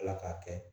Ala k'a kɛ